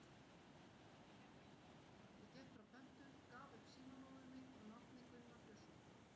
Ég gekk frá pöntun, gaf upp símanúmer mitt og nafnið Gunnar Björnsson.